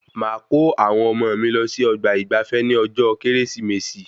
Máa kọ́ àwọn ọmọ mí lọ sí ọgbà ìgbafé ní ọjọ kérésìmesì